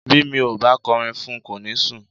Bí mi ò bá kọrin fún un, kò ní sùn.